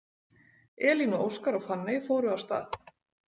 Elín og Óskar og Fanney fóru af stað.